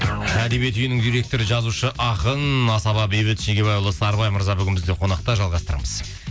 әдебиет үйінің директоры жазушы ақын асаба бейбіт шегебайұлы сарыбай мырза бүгін бізде қонақта жалғастырамыз